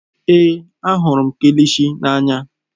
Èé, ahụrụ m kilishi n'anya.